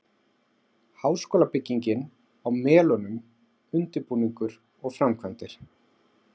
Háskólabyggingin á Melunum- undirbúningur og framkvæmdir